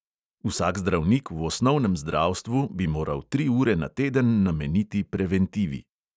Vsak zdravnik v osnovnem zdravstvu bi moral tri ure na teden nameniti preventivi.